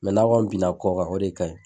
n'a kɔni binna a kɔ kan o de ka ɲi.